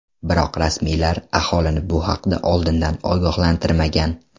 Biroq rasmiylar aholini bu haqda oldindan ogohlantirmagan.